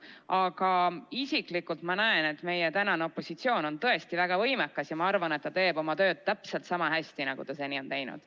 Aga isiklikult ma näen, et meie praegune opositsioon on tõesti väga võimekas, ja ma arvan, et ta teeb oma tööd täpselt sama hästi, nagu ta seni on teinud.